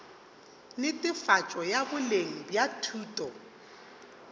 netefatšo ya boleng bja thuto